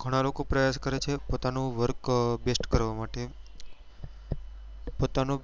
ગણા લોકો પ્રયાસ કરે છે પોતાનું work best કરવા માટે પોતાનો